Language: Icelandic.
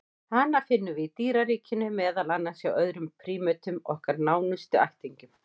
Hana finnum við í dýraríkinu, meðal annars hjá öðrum prímötum, okkar nánustu ættingjum.